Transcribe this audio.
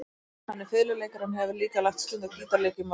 Hann er fiðluleikari en hefur líka lagt stund á gítarleik í mörg ár.